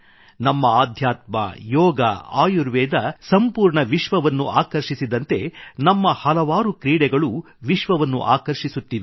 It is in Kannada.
ನಮ್ಮ ಆಧ್ಯಾತ್ಮ ಯೋಗ ಆಯುರ್ವೇದ ಸಂಪೂರ್ಣ ವಿಶ್ವವನ್ನು ಆಕರ್ಷಿಸಿದಂತೆ ನಮ್ಮ ಹಲವಾರು ಕ್ರೀಡೆಗಳೂ ವಿಶ್ವವನ್ನು ಆಕರ್ಷಿಸುತ್ತಿವೆ